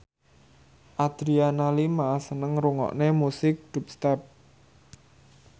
Adriana Lima seneng ngrungokne musik dubstep